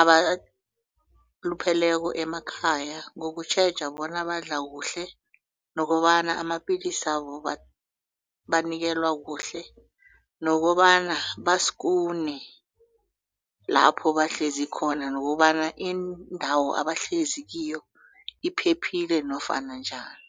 abalupheleko emakhaya ngokutjheja bona badla kuhle nokobana amapillisabo banikelwa kuhle nokobana baskune lapho bahlezi khona nokobana indawo abahlezi kiyo iphephile nofana njani.